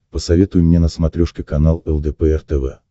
посоветуй мне на смотрешке канал лдпр тв